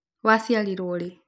Waciarirũo rĩ?